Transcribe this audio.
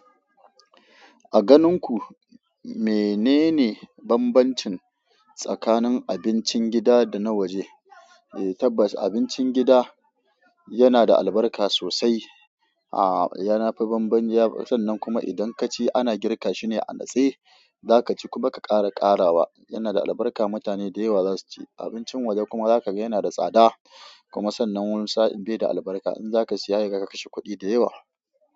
A ganin ku menene bambancin tsakanin abincin gida da na waje? Eee tabbas abincin gida yana da albarka sosai. Aa yana fi bamban, ya sannan kuma idan kaci ana girka shine anatse, za ka ci kuma ka ƙara ƙarawa. Yana da albarka mutane da yawa za su ci. Abincin waje kuma za ka ga yana da tsada, kuma sannan wasu sa'in bai da albarka. In za ka siya hekaga ka kashe kuɗi da yawa.